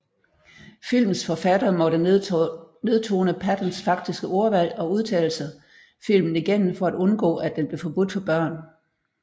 Filmens forfattere måtte nedtone Pattons faktiske ordvalg og udtalelser filmen igennem for at undgå at den blev forbudt for børn